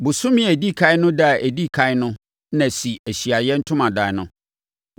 “Bosome a ɛdi ɛkan no ɛda a ɛdi ɛkan no na si Ahyiaeɛ Ntomadan no.